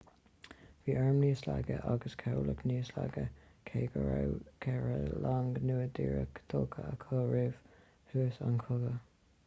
bhí airm níos laige agus cabhlach níos laige cé go raibh ceithre long nua díreach tógtha acu roimh thús an chogaidh